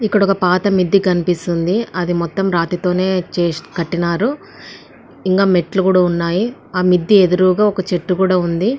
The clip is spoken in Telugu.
ఇక్కడ ఒక పాత మిద్దె కనిపిస్తుంది. అదే మొత్తం చేస్ కట్టిన్నారు. ఇలా మెట్లు కూడా ఉన్నాయి. ఆ మెత్ ఎదురుగ ఒక చెట్టు కూడా ఉంది.